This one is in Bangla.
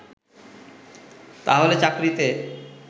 তাহলে চাকরিতে